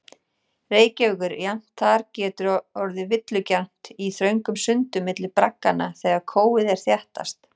Reykjavíkur, jafnvel þar getur orðið villugjarnt í þröngum sundum milli bragganna þegar kófið er þéttast.